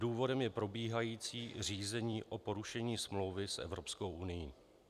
Důvodem je probíhající řízení o porušení smlouvy s Evropskou unií.